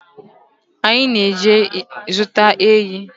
Anyị na-eje zụta ehi